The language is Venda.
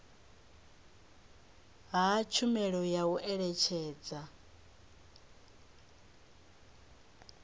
ha tshumelo ya u eletshedza